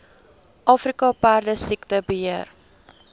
afrika perdesiekte beheer